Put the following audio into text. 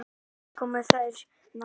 Svo komu þeir nær.